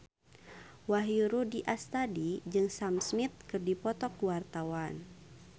Wahyu Rudi Astadi jeung Sam Smith keur dipoto ku wartawan